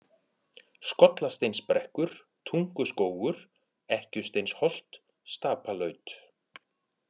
Skollasteinsbrekkur, Tunguskógur, Ekkjusteinsholt, Stapalaut